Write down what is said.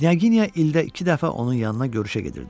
Knyaginya ildə iki dəfə onun yanına görüşə gedirdi.